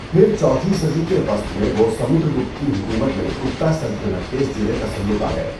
پھر چوتھی صدی کے وسط میں وہ سمندر گپت کی حکمت میں گپتا سلطنت کے زیر تسلط آگئے۔